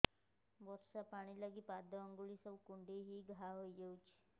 ବର୍ଷା ପାଣି ଲାଗି ପାଦ ଅଙ୍ଗୁଳି ସବୁ କୁଣ୍ଡେଇ ହେଇ ଘା ହୋଇଯାଉଛି